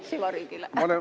Süvariigile.